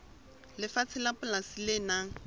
lefatshe la polasi le nang